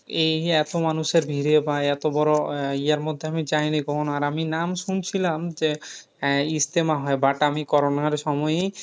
এই এত মানুষের ভীড়ে বা এতবড় আহ ইয়ে মধ্যে আমি যায়নি কখনো। আর আমি নাম শুনছিলাম যে, ইজতেমা হয় but আমি corona র সময়ী,